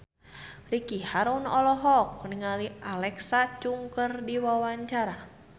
Ricky Harun olohok ningali Alexa Chung keur diwawancara